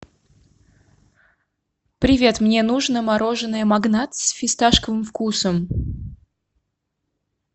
привет мне нужно мороженое магнат с фисташковым вкусом